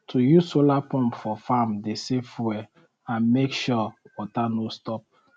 we dey plant elephant grass for edge um of farm um to stop erosion and keep soil for one place. um